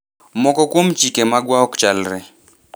moko kuom chike magwa ok chalre